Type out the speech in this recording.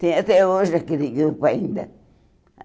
Tem até hoje aquele grupo ainda.